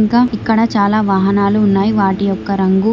ఇంకా ఇక్కడ చాలా వాహనాలు ఉన్నాయి వాటి యొక్క రంగు